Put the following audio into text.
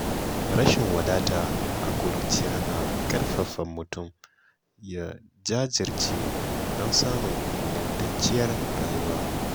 Rashin wadata a ƙuruciya na ƙarfafa mutum ya jajirce don samun ingantacciyar rayuwa.